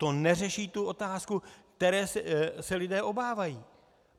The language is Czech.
To neřeší tu otázku, které se lidé obávají.